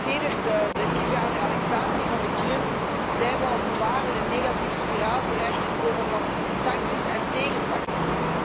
Sedert de illegale annexatie van de Krim zijn we als het ware in een negatieve spiraal terecht gekomen van sancties en tegensancties.